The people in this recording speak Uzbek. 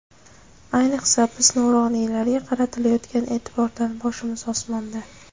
Ayniqsa, biz nuroniylarga qaratilayotgan e’tibordan boshimiz osmonda.